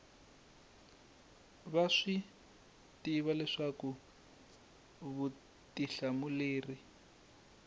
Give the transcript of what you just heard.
va swi tiva leswaku vutihlamuleri